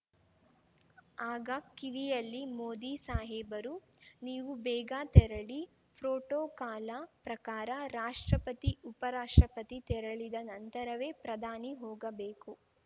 ಆಗ ಕಿವಿಯಲ್ಲಿ ಮೋದಿ ಸಾಹೇಬರು ನೀವು ಬೇಗ ತೆರಳಿ ಪ್ರೋಟೋಕಾಲ ಪ್ರಕಾರ ರಾಷ್ಟ್ರಪತಿ ಉಪರಾಷ್ಟ್ರಪತಿ ತೆರಳಿದ ನಂತರವೇ ಪ್ರಧಾನಿ ಹೋಗಬೇಕು